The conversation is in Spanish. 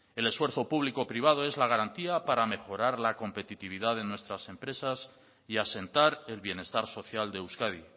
el esfuerzo público privado es la garantía para mejorar la competitividad en nuestras empresas y asentar el bienestar social de euskadi